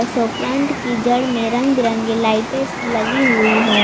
Show plant की जड़ में रंग बिरंगे लाइटे लगी हुई है।